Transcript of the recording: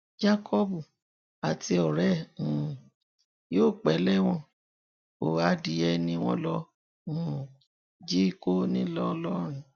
jacob àti ọrẹ ẹ̀ um yóò pẹ́ lẹ́wọ̀n o adìẹ ni wọn lọ um jí kó ńlọrọrìn